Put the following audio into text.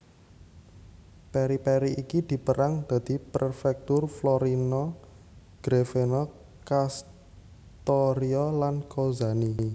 Periphery iki dipérang dadi prefecture Florina Grevena Kastoria lan Kozani